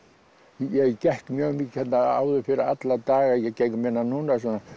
ég gekk mjög mikið hérna áður fyrr alla daga ég geng minna núna